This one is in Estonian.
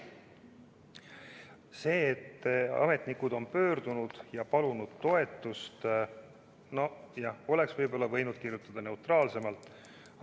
See, et ametnikud on pöördunud ja palunud toetust – nojah, oleks võib-olla võinud kasutada neutraalsemat sõnastust.